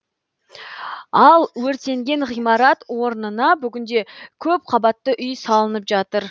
ал өртенген ғимарат орнына бүгінде көпқабатты үй салынып жатыр